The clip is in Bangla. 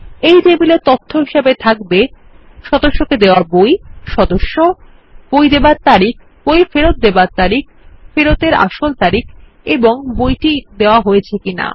এই টেবিলে তথ্য হিসাবে থাকবে সদস্যকে দেওয়া বই সদস্য বই দেওয়ার তারিখ বই ফেরত দেওয়ার তারিখ ফেরত এর আসল তারিখ এবং বইটি দেওয়া হয়েছে কিনা